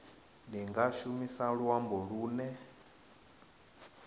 ni nga shumisa luambo lune